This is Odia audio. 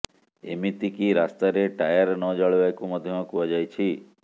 ଏମିତି କି ରାସ୍ତାରେ ଟାୟାର ନ ଜାଳିବାକୁ ମଧ୍ୟ କୁହାଯାଇଛି